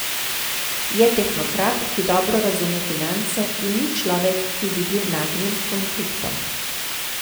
Je tehnokrat, ki dobro razume finance, in ni človek, ki bi bil nagnjen h konfliktom.